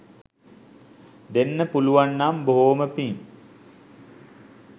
දෙන්න පුළුවන් නම් බොහෝම පිං